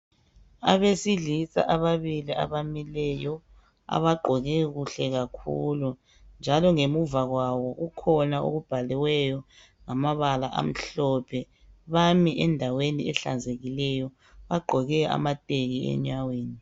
Abesilisa ababili abamileyo abagqoke kuhle kakhulu njalo ngemuva kwabo kukhona okubhaliweyo ngamabala amhlophe bami endaweni ehlanzekileyo bagqoke amateki enyaweni.